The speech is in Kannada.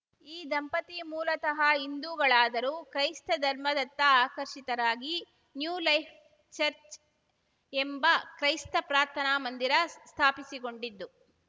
ಈ ದಂಪತಿ ಮೂಲತಃ ಹಿಂದೂಗಳಾದರೂ ಕ್ರೈಸ್ತ ಧರ್ಮದತ್ತ ಆಕರ್ಷಿತರಾಗಿ ನ್ಯೂ ಲೈಫ್‌ ಚರ್ಚ್ ಎಂಬ ಕ್ರೈಸ್ತ ಪ್ರಾರ್ಥನಾ ಮಂದಿರ ಸ್ಥಾಪಿಸಿಕೊಂಡಿದ್ದು